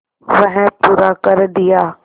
वह पूरा कर दिया